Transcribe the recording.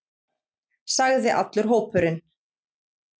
sagði allur hópurinn.